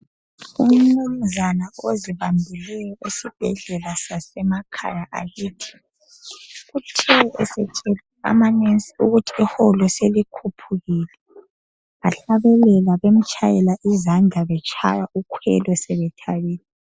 Umnumzana oqakathekileyo esibhedlela sakithi ,uqonqosele amanesi akithi ukuba iholo selikhwelile, ahlabelela etshaywa ukhwelo sebethabile.